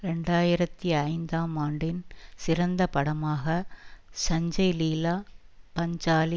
இரண்டு ஆயிரத்தி ஐந்தாம் ஆண்டின் சிறந்த படமாக சஞ்சய் லீலா பன்சாலி